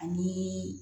Ani